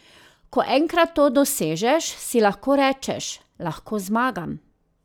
Ko enkrat to dosežeš, si lahko rečeš: 'Lahko zmagam.